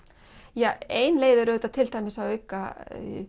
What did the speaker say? ja ein leið er auðvitað til dæmis að auka